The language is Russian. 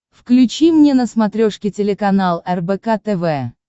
включи мне на смотрешке телеканал рбк тв